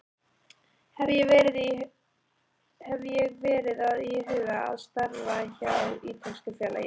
Hef ég verið að íhuga að starfa hjá ítölsku félagi?